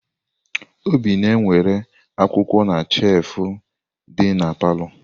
Obi na-ewere akwụkwọ na shefu dị na palọ.